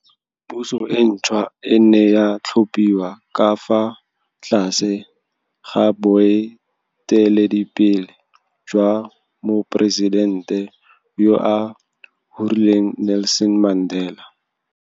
Puso e ntšhwa e ne ya tlhophiwa ka fa tlase ga boe teledipele jwa Moporesidente yo o hulereng Nelson Mandela.